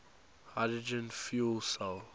hydrogen fuel cell